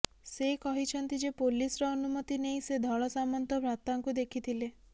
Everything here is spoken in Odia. ସେ କହିଛନ୍ତି ଯେ ପୋଲିସ୍ର ଅନୁମତି ନେଇ ସେ ଧଳସାମନ୍ତ ଭ୍ରାତାଙ୍କୁ ଦେଖିଥିଲେ